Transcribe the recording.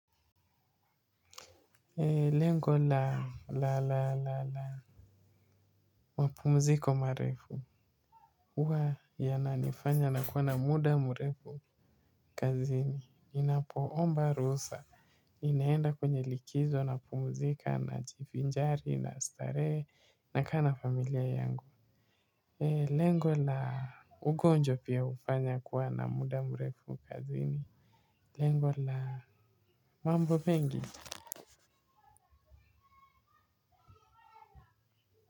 Lengo la la la la la mapumziko marefu, uwa yana nifanya na kuwa na muda mrefu kazini. Inapo omba ruhusa. Inaenda kwenye likizo na pumuzika na jivinjari na starehe na kaa na familia yangu. Lengo la, ugonjwa pia, ufanya kuwa na muda mrefu kazini. Lengo la, mambo pengi.